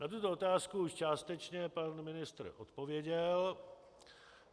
Na tuto otázku již částečně pan ministr odpověděl.